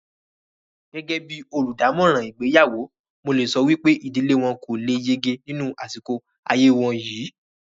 Gẹ́gẹ́ bíi olùdámọ̀ràn ìgbéyàwó, mo lè sọ wípé ìdílé wọn kò le lé yege nínú àsìkò ayé wọn yìí